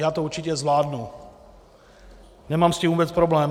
Já to určitě zvládnu, nemám s tím vůbec problém.